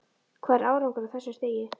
Hvað er árangur á þessu stigi?